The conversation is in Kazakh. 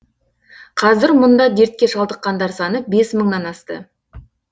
қазір мұнда дертке шалдыққандар саны бес мыңнан асты